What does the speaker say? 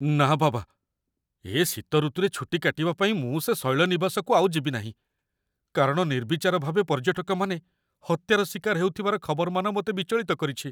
ନା ବାବା, ଏ ଶୀତ ଋତୁରେ ଛୁଟି କାଟିବା ପାଇଁ ମୁଁ ସେ ଶୈଳନିବାସକୁ ଆଉ ଯିବି ନାହିଁ, କାରଣ ନିର୍ବିଚାର ଭାବେ ପର୍ଯ୍ୟଟକମାନେ ହତ୍ୟାର ଶିକାର ହେଉଥିବାର ଖବରମାନ ମୋତେ ବିଚଳିତ କରିଛି।